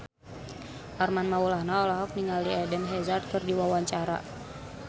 Armand Maulana olohok ningali Eden Hazard keur diwawancara